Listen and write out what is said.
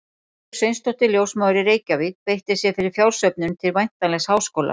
Þorbjörg Sveinsdóttir, ljósmóðir í Reykjavík, beitti sér fyrir fjársöfnun til væntanlegs háskóla.